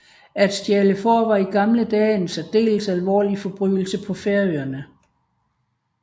At stjæle får var i gamle dage en særdeles alvorlig forbrydelse på Færøerne